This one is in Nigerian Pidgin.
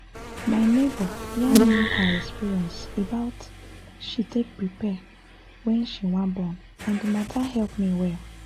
my neighbor yarn me her experience about she take prepare wen she wan born and d matter help me well